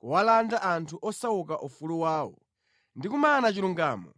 kuwalanda anthu osauka ufulu wawo ndi kumana chilungamo